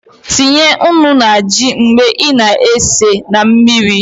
Tinye nnu na ji mgbe I na- esi na mmiri